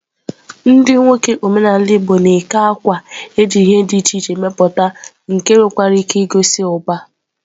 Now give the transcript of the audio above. Ndi nwoke omenala igbo na-eke àkwà eji ihe di iche iche meputa nke nwekwara ike igosi uba.